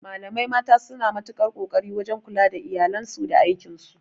Malamai mata suna matukar ƙoƙari wajan kula da iyalansu da aikin su